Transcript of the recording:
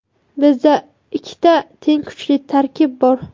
Bizda ikkita teng kuchli tarkib bor.